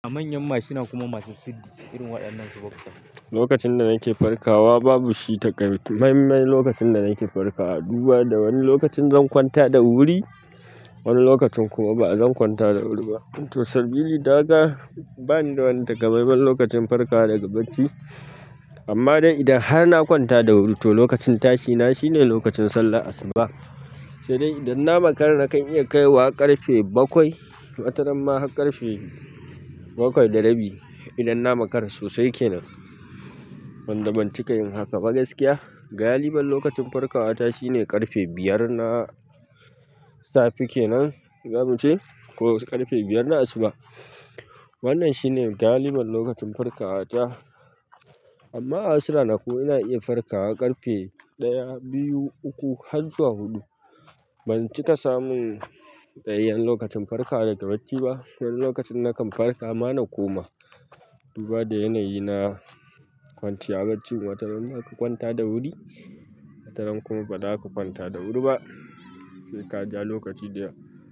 A manyan mashina kuma masu siddi irin waɗannan su boxa. Lokacin da nake farkawa babu shi taƙaitcce, muhimmin lokacin da nake farkawa dubu da wani lokacin zan kwanta da wuri, wani lokacin kuma ba zan kwanta da wuri ba. To sabili da haka, bani da wani taƙaimimman lokacin farka daga bacci. Amma dai idan har na kwanta da wuri to lokacin tashina shine lokacin sallah asuba. Sai dai idan na makara nakan iya kaiwa ƙarfe bakwai, wataramma har ƙarfe bakwai da rabi idan na makara sosai kenan. Ban da ban cika in haka ba gaskiya, galibin lokacin farkawa ta shine ƙarfe biyar na safe kenan, za mu ce ko ƙarfe biyar na asuba. Wannan shine galibin lokacin farkawa ta. Amma a wasu ranaku, ina iya farkawa ƙarfe ɗaya, biyu, uku har zuwa huɗu. Ban cika samun tsayayyan lokacin farka daga bacci ba. Wani lokacin nakan farka ma na koma. Duba da yanayi na kwanciya bacci, wataramma ka kwanta da wuri, wataran kuma ba za ka kwanta da wuri ba. Sai ka ja lokaci da.